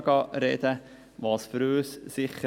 Ich werde dann nicht zu jeder Planungserklärung sprechen.